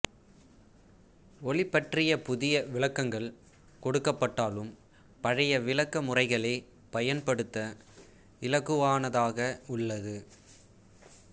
ஒளி பற்றிய புதிய விளக்கங்கள் கொடுக்கப்பட்டாலும் பழைய விளக்க முறைகளே பயன்படுத்த இலகுவானதாக உள்ளது